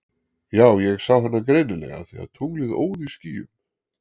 Já ég sá hana greinilega af því að tunglið óð í skýjum.